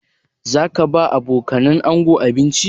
Za ka ba wa abokanan ango abinci?